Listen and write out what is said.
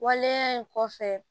Waleya in kɔfɛ